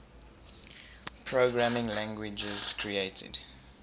programming languages created